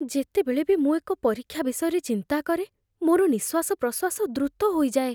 ଯେତେବେଳେ ବି ମୁଁ ଏକ ପରୀକ୍ଷା ବିଷୟରେ ଚିନ୍ତା କରେ, ମୋର ନିଃଶ୍ୱାସପ୍ରଶ୍ୱାସ ଦ୍ରୁତ ହୋଇଯାଏ।